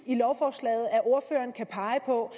i lovforslaget at ordføreren kan pege på